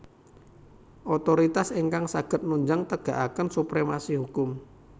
Otoritas ingkang saged nunjang tegakaken supremasi hukum